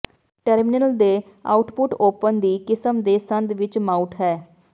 terminal ਤੇ output open ਦੀ ਕਿਸਮ ਦੇ ਸੰਦ ਵਿੱਚ ਮਾਊਟ ਹੈ